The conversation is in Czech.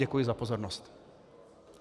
Děkuji za pozornost.